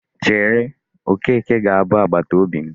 Chere, Okeke ga-abụ agbataobi m.